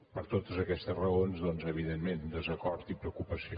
per totes aquestes raons doncs evidentment desacord i preocupació